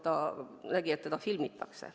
Ta nägi, et teda filmitakse.